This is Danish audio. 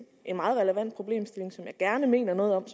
en meget relevant problemstilling som jeg gerne mener noget om